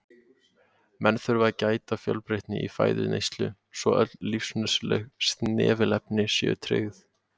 Menn þurfa að gæta fjölbreytni í fæðuneyslu svo öll lífsnauðsynleg snefilefni séu tryggð.